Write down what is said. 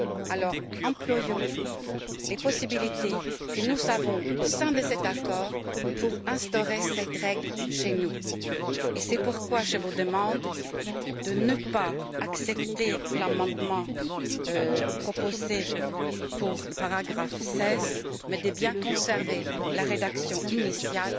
Alors employons les possibilités que nous avons au sein de cet accord pour instaurer cette règle chez nous. Et c'est pourquoi je vous demande de ne pas accepter l'amendement proposé pour le paragraphe 16, mais de bien conserver la rédaction initiale